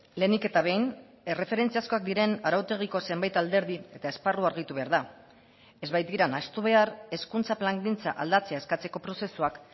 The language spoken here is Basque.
lehenik eta behin erreferentziazkoak diren arautegiko zenbait alderdi eta esparru argitu behar da ez baitira nahastu behar hezkuntza plangintza aldatzea eskatzeko prozesuak